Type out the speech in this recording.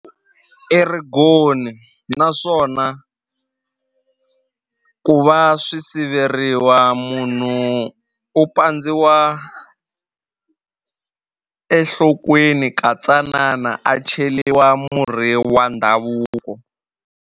I righoni naswona ku va swi siveriwa munhu u pandziwa enhlokweni ka tsanana a cheliwa murhi wa ndhavuko.